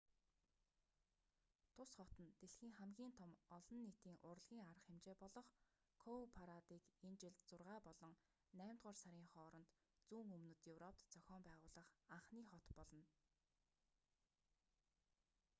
тус хот нь дэлхийн хамгийн том олон нийтийн урлагийн арга хэмжээ болох коупарадыг энэ жил зургаа болон наймдугаар сарын хооронд зүүн өмнөд европт зохион байгуулах анхны хот болно